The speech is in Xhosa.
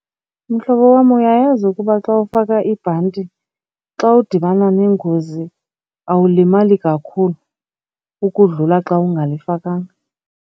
Mhlobo wam, uyayazi ukuba xa ufaka ibhanti xa udibana nengozi awulimali kakhulu ukudlula xa ungalifakanga?